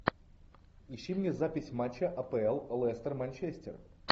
ищи мне запись матча апл лестер манчестер